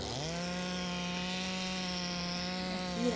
Essa é minha filha.